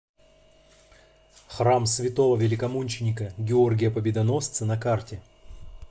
храм святого великомученика георгия победоносца на карте